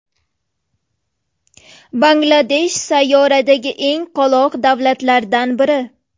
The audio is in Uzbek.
Bangladesh sayyoradagi eng qoloq davlatlardan biri.